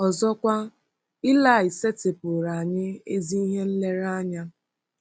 Ọzọkwa, Ilaị setịpụụrụ anyị ezi ihe nlereanya.